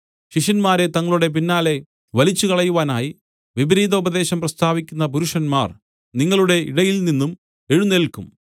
ശിഷ്യന്മാരെ തങ്ങളുടെ പിന്നാലെ വലിച്ചുകളയുവാനായി വിപരീതോപദേശം പ്രസ്താവിക്കുന്ന പുരുഷന്മാർ നിങ്ങളുടെ ഇടയിൽനിന്നും എഴുന്നേല്ക്കും